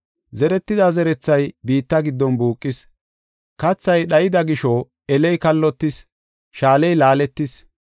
Zeretida zerethay biitta giddon buuqis; kathay dhayida gisho eley kallotis; shaaley laaletis.